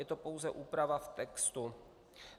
Je to pouze úprava v textu.